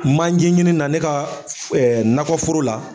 Manɲɛ ɲini na ne ka nakɔ foro la.